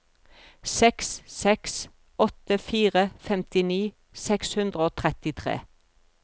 seks seks åtte fire femtini seks hundre og trettitre